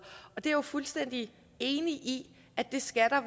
det er jeg fuldstændig enig i at der skal